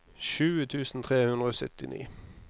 tjue tusen tre hundre og syttini